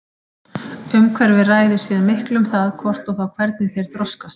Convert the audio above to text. Umhverfið ræður síðan miklu um það hvort og þá hvernig þeir þroskast.